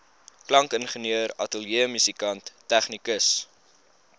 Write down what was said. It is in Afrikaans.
klankingenieur ateljeemusikant tegnikus